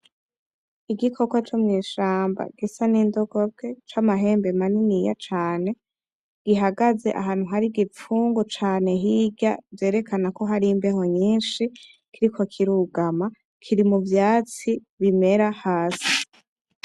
Igikoko co mwishamba gisa ni ndogobwe cama hembe maniniya cane, gihagaze ahantu hari igi pfungu cane hirya vyerekana ko hari imbeho nyishi. Kiriko kirugama kiri mu vyatsi bimera hasi.